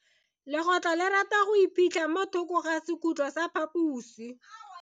Legotlo le rata go iphitlha mo thoko ga sekhutlo sa phaposi.